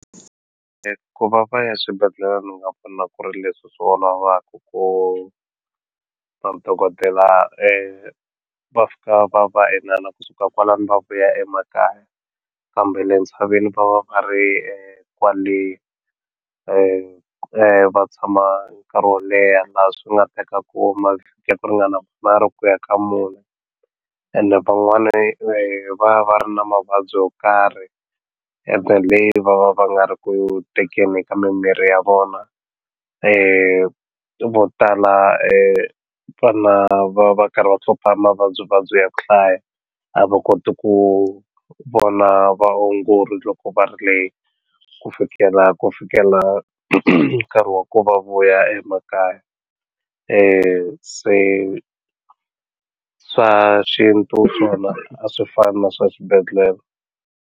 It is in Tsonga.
Ku va va ya swibedhlele ni nga ku ri leswi swi olovaku ku madokodela va fika va va inana kusuka kwalano va vuya emakaya kambe le ntshaveni va va va ri kwale va tshama nkarhi wo leha laha swi nga tekaku mavhiki yo ringana manharhu ku ya ka mune ene van'wani va ya va ri na mavabyi yo karhi ene le va va va nga ri ku tekeni ka mimirhi ya vona mo tala vana va karhi va mavabyi vabyi ya ku hlaya a va koti ku vona vaongori loko va ri le ku fikela ku fikela nkarhi wa ku va vuya emakaya se swa xintu swona a swi fani na swa xibedhlele.